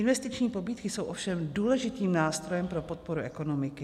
Investiční pobídky jsou ovšem důležitým nástrojem pro podporu ekonomiky.